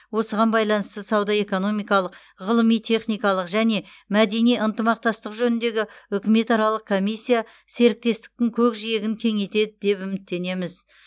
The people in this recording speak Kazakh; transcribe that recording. осыған байланысты сауда экономикалық ғылыми техникалық және мәдени ынтымақтастық жөніндегі үкіметаралық комиссия серіктестіктің көкжиегін кеңейтеді деп үміттенеміз